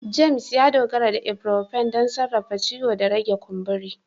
James, ya dogara da ibuprofen don sarrafa ciwo da rage kumburi